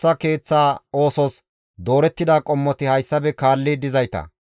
Baxiloota, Mahidanne Harsha zereththata,